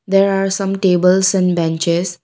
there are some tables and benches.